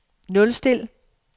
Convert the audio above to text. nulstil